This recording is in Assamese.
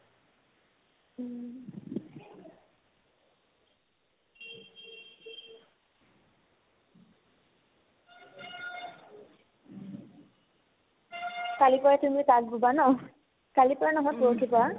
কালিৰ পৰা তুমিও তাঁত বোবা ন কালিৰ পৰা নহয় পৰহিৰ পৰা